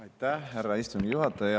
Aitäh, härra istungi juhataja!